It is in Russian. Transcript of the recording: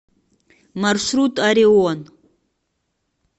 маршрут орион